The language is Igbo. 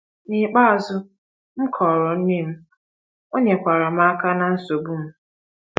N’ikpeazụ, m kọọrọ nne m, o nyekwaara m aka na nsogbu m.